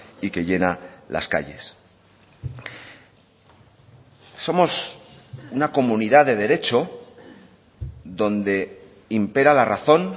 y que llena las calles somos una comunidad de derecho donde impera la razón